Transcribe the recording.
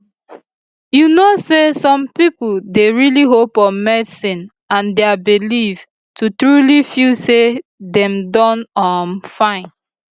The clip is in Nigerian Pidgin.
you know say some pipo dey really hope on medicine and dia belief to truly feel say dem don um fine